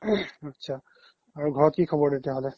আত্চা আৰু ঘৰত কি খবৰ তেতিয়া হ্'লে